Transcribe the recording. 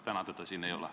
Täna teda siin ei ole.